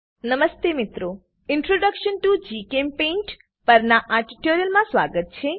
નમસ્તે મિત્રો introduction to GChemPaint પરનાં આ ટ્યુટોરીયલમાં સ્વાગત છે